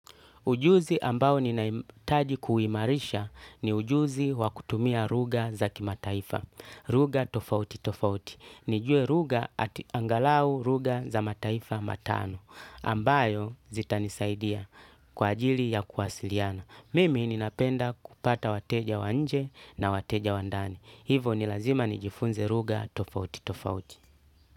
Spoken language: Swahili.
Ujuzi ambao ninaimitaji kuimarisha ni ujuzi wakutumia ruga za ki mataifa. Ruga tofauti tofauti. Nijue ruga ati angalau ruga za mataifa matano. Ambayo zita nisaidia kwa ajili ya kuwasiliana. Mimi ninapenda kupata wateja wanje na wateja wandani. Hivo nilazima nijifunze ruga tofauti tofauti.